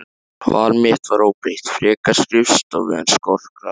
Val mitt var óbreytt, frekar skrifstofu en skotgrafir.